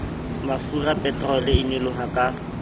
mafura peterole e nyoloha ka